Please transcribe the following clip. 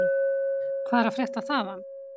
Hvað er að frétta þaðan?